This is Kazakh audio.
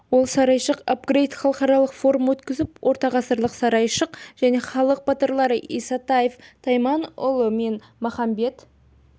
ол сарайшық апгрейт халықаралық форум өткізіліп ортағасырлық сарайшық және халық батырлары исатаев тайманұлы мен махамбет